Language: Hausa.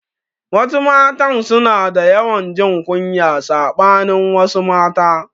Wasu matan suna da yawan jin kunya saɓanin wasu mata